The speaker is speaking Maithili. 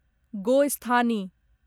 गोस्थानी